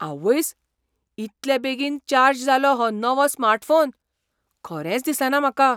आवयस, इतले बेगीन चार्ज जालो हो नवो स्मार्टफोन? खरेंच दिसना म्हाका.